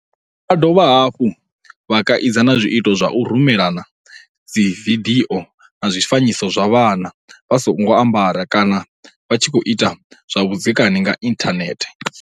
Vho dovha hafhu vha kaidza na zwiito zwa u rumelana dzividio na zwifanyiso zwa vhana vha songo ambara kana vha tshi khou ita zwa vhudzekani nga inthanethe.